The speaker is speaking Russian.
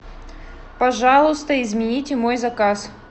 пожалуйста измените мой заказ